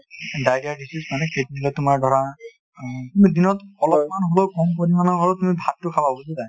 diarrhea তোমাৰ ধৰা তুমি দিনত অলপমান হ'লেও ক'ম পৰিমানৰ হ'লেও তুমি ভাতটো খাবা | বুজিছা নে নাই ?